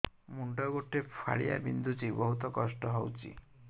ମୁଣ୍ଡ ଗୋଟେ ଫାଳିଆ ବିନ୍ଧୁଚି ବହୁତ କଷ୍ଟ ହଉଚି